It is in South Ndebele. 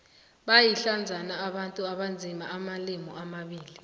bayindlandzana abantu abazi amalimi amabili